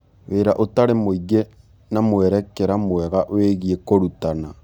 Wĩra ũtarĩ mũingĩ na mwerekera mwega wĩgiĩ kũrutana.